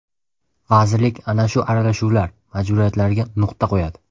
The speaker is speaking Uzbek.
Vazirlik ana shu aralashuvlar, majburiyatlarga nuqta qo‘yadi.